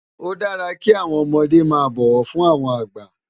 Ó dàrá ki áwòn òmòdé má bòwò fún áwòn àgbá